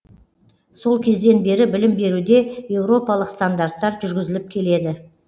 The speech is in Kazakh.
сол кезден бері білім беруде еуропалық стандарттар жүргізіліп келеді